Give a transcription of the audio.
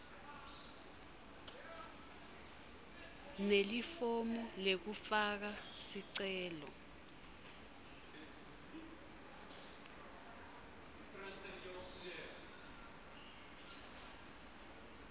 nelifomu lekufaka sicelo